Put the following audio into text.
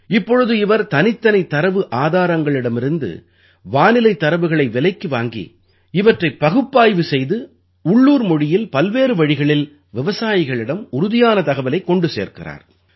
இப்பொழுது இவர் தனித்தனி தரவு ஆதாரங்களிடமிருந்து வானிலைத் தரவுகளை விலைக்கு வாங்கி இவற்றைப் பகுப்பாய்வு செய்து உள்ளூர் மொழியில் பல்வேறு வழிகளில் விவசாயிகளிடம் உறுதியான தகவலைக் கொண்டு சேர்க்கிறார்